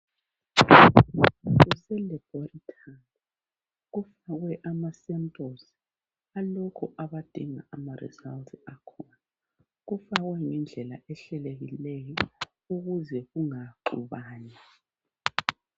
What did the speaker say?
Kuselabhoretori kufakwe amasempuluzi alabo abadinga imiphumela yakhona. Kufakwe ngendlela ehlelekileyo ukuze kungaxubani